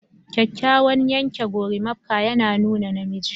Kyakkyawan yanke gorimakpa yana nuna namiji